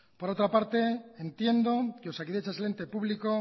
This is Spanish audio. por otra parte entiendo que osakidetza es el ente público